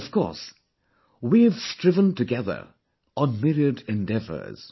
And, of course, we have striven together on myriad endeavours